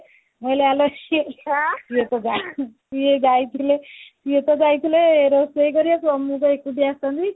ମୁଁ କହିଲି ଆଲୋ ସେ ସି ସିଏତ ଯା ସିଏ ଯାଇଥିଲେ ସିଏ ତ ଯାଇଥିଲେ ରୋଷେଇ କରିବାକୁ ମୁଁ କଣ ଏକୁଟିଆ ଆସିଥାନ୍ତି